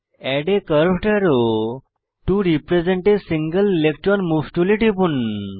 add a curved arrow to represent a single electron move টুলে টিপুন